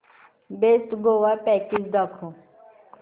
best Goa package दाखव